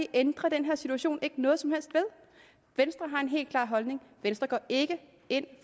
ændrer den her situation ikke noget som helst ved venstre har en helt klar holdning venstre går ikke ind